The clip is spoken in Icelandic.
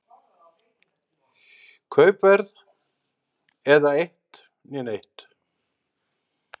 Kaupverð eða eitt né neitt.